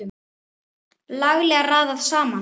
Laglega raðað saman!